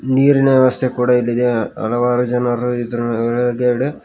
ನೀರಿನ ವ್ಯವಸ್ಥೆ ಕೂಡ ಇಲ್ಲಿದೆ ಹಲವಾರು ಜನರು ಇದ್ರೋಳಗಡೆ--